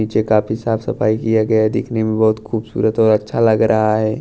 नीचे काफी साफ सफाई किया गया है देखने में बहोत खूबसूरत और अच्छा लग रहा है।